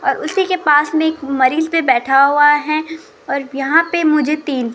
और उसी के पास में एक मरीज पे बैठा हुआ है और यहां पे मुझे तीन--